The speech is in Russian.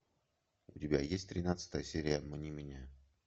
у тебя есть тринадцатая серия обмани меня